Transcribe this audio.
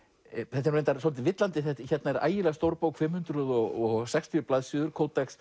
þetta er nú reyndar svolítið villandi hérna er ægilega stór bók fimm hundruð og sextíu blaðsíður